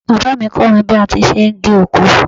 Bàbá mi kọ́ mi bí a ti ṣe ń gé oko.